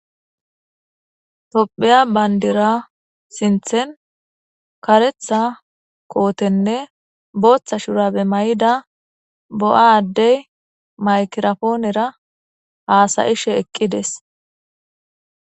Topheya banidira sinithen kotene botha shurabe maida bo'a adey mayigira ponera hasa'she eqides